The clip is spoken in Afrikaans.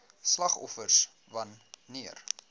slagoffers wan neer